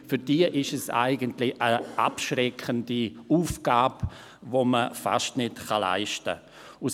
Für diese ist es eine abschreckende Aufgabe, die man fast nicht bewältigen kann.